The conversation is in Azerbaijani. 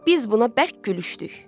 Biz buna bərk gülüşdük.